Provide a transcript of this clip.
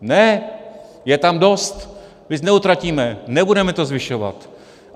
Ne, je tam dost, víc neutratíme, nebudeme to zvyšovat.